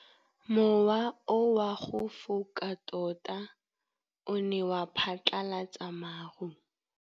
Mowa o wa go foka tota o ne wa phatlalatsa maru.